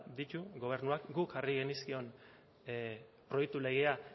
ditu gobernuak guk jarri genizkion proiektu legea